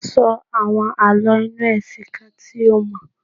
Sọ àwọn Àlọ́ inú ẹ̀sìn kan tí o mọ̀.